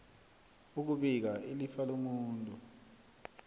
ukubika ilifa lomuntu